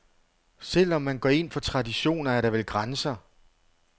Selv om man går ind for traditioner, er der vel grænser.